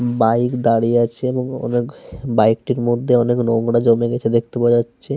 Bike দাঁড়িয়ে আছে এবং অনেক বাইক টির মধ্যে অনেক নোংরা জমে গেছে দেখতে পাওয়া যাচ্ছে।